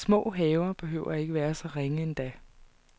Små haver behøver ikke at være så ringe endda.